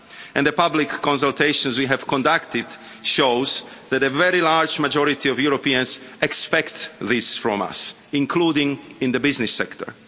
And the public consultation we have conducted shows that a very large majority of Europeans expect this from us, including in the business sector.